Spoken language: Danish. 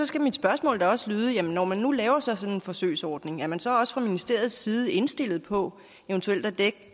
skal mit spørgsmål også lyde sådan når man nu laver sådan en forsøgsordning er man så også fra ministeriets side indstillet på eventuelt at dække